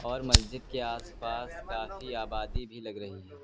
और मस्जिद के आस पास काफी आबादी भी लग रही है।